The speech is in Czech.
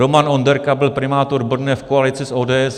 Roman Onderka byl primátor Brna v koalici s ODS.